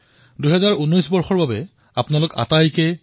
আপোনালোক সকলোৱে ভাবিছে চাগে ২০১৮ক কিদৰে সোঁৱৰণীত ৰাখিব পৰা যায়